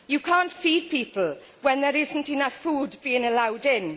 You cannot feed people when there is not enough food being allowed in.